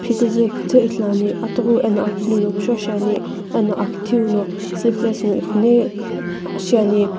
phikuzu kuthu ithuluani atughiu eno akiniu no kushou shiani eno akithiu no sleeveless ngo iqhonhe shiani.